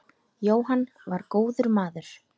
Jóhann var góður maður.